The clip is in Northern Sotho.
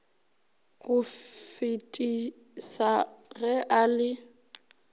go fetisa ge a le